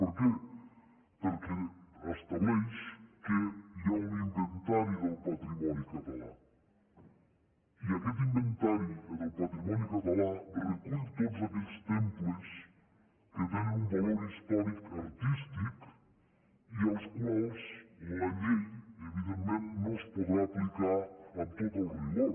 per què perquè estableix que hi ha un inventari del patrimoni català i aquest inventari del patrimoni català recull tots aquells temples que tenen un valor històric artístic i als quals la llei evidentment no es podrà aplicar amb tot el rigor